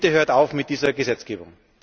Bitte hört auf mit dieser Gesetzgebung!